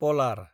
Palar